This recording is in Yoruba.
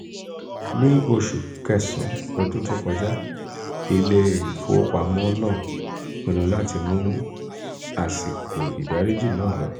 ní oṣù kẹsàn-án ọdún tó kọjá ilé-ìfowópamọ́ náà pinnu láti mú àsìkò ìdáríjì náà lọ.